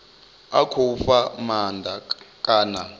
a khou fha maanda kana